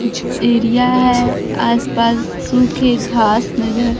area है आसपास सुखे घास नजर--